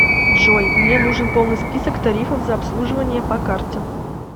джой мне нужен полный список тарифов за обслуживание по карте